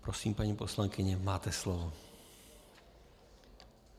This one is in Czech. Prosím, paní poslankyně, máte slovo.